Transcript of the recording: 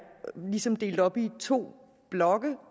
ligesom delt op i to blokke